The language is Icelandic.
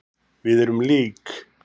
Við erum lík.